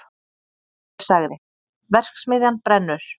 Ég sagði: verksmiðjan brennur!